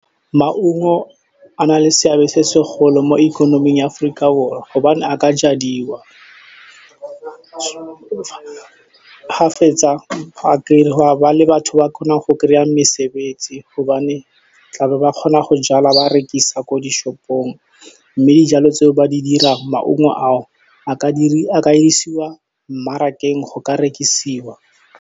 Maungo a na le seabe se segolo mo ikonoming ya Aforika Borwa gobane a ka jadiwa. Ga fetsa, go a ba le batho ba kgonang go kry-a mesebetsi gobane ba tla kgona go jala le go rekisa ko di-shop-ong, mme dijalo tse ba di dirang maungo a o a ka isiwa mmarakeng go ka rekisiwa.